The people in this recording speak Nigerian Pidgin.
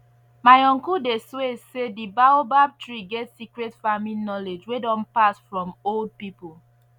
my uncle dey swear say the baobab tree get secret farming knowledge wey don pass from old people